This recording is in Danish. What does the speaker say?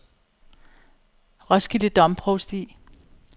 Roskilde Domprovsti